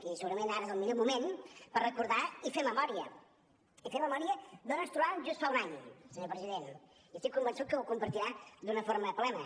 i segurament ara és el millor moment per recordar i fer memòria i fer memòria d’on ens trobàvem just fa un any senyor president i estic convençut que ho compartirà d’una forma plena